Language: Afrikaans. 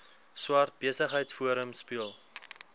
swart besigheidsforum speel